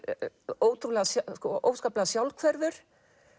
óskaplega óskaplega sjálfhverfur